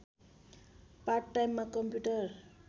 part टाइममा computer